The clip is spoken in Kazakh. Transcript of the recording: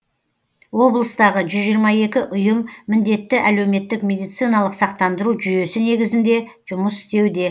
облыстағы жүз жиырма екі ұйым міндетті әлеуметтік медициналық сақтандыру жүйесі негізінде жұмыс істеуде